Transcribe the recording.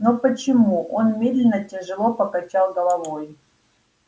но почему он медленно тяжело покачал головой